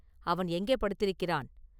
அவன் எங்கே படுத்திருக்கிறான்?